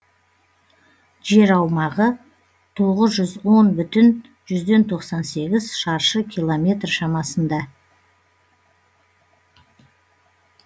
жер аумағы тоғыз жүз он бүтін жүзден тоқсан сегіз шаршы километр шамасында